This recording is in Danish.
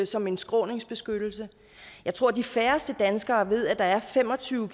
som en skråningsbeskyttelse jeg tror at de færreste danskere ved at der er fem og tyve